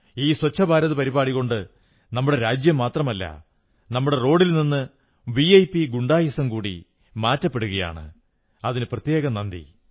ഈ സ്വച്ഛഭാരത് പരിപാടി കൊണ്ട് നമ്മുടെ രാജ്യം മാത്രമല്ല നമ്മുടെ റോഡിൽ നിന്ന് വിഐപി ഗുണ്ടായിസം കൂടി മാറ്റപ്പെടുകയാണ് അതിന് നന്ദി